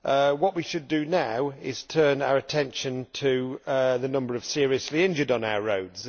What we should now do is turn our attention to the number of seriously injured on our roads